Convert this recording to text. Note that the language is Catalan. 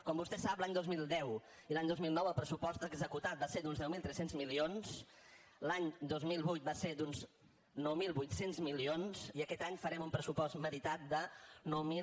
com vostè sap l’any dos mil deu i l’any dos mil nou el pressupost executat va ser d’uns deu mil tres cents milions l’any dos mil vuit va ser d’uns nou mil vuit cents milions i aquest any farem un pressupost meritat de nou mil